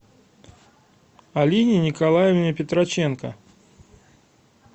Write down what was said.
алине николаевне петроченко